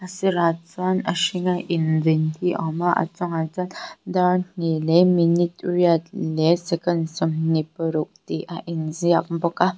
sirah chuan a hringa inveng hi a awm a a chungah chuan dar hnih leh minute riat leh second sawmhnihparuk tih a inziak bawk a.